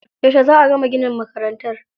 Yauce za a gama ginin makarantar?